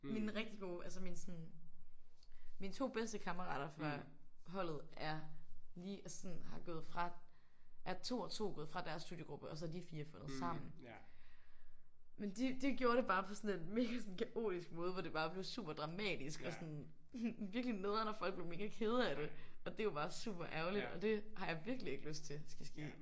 Mine rigtig gode altså mine sådan mine 2 bedste kammerater fra holdet er lige altså sådan har gået fra er 2 og 2 gået fra deres studiegruppe og så har de 4 fundet sammen. Men de de gjorde det bare på sådan en mega sådan kaotisk måde hvor det bare blev super dramatisk og sådan virkelig nederen og folk blev mega kede af det og det er jo bare super ærgerligt og det har jeg virkelig ikke lyst til skal ske